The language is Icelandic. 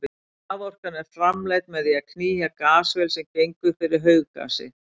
Raforkan er framleidd með því að knýja gasvél sem gengur fyrir hauggasi.